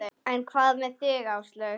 En hvað með þig Áslaug?